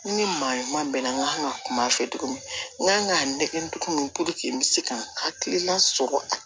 Ni maa ɲuman bɛnna n ka kan ka kuma fɛ togo min n kan ka nɛgɛ tugun n bɛ se ka hakilina sɔrɔ